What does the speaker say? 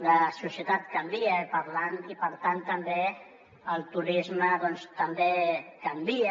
la societat canvia i per tant també el turisme doncs canvia